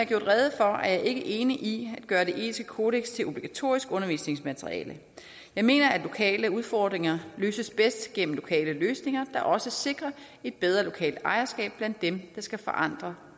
gjort rede for er jeg ikke enig i gøre det etiske kodeks til obligatorisk undervisningsmateriale jeg mener at lokale udfordringer løses bedst gennem lokale løsninger der også sikrer et bedre lokalt ejerskab blandt dem der skal forandre